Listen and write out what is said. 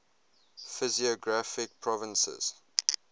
physiographic provinces